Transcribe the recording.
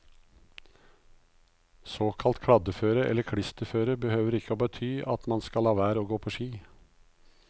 Såkalt kladdeføre, eller klisterføre, behøver ikke å bety at man skal la være å gå på ski.